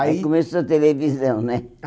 Aí aí começou a televisão, né?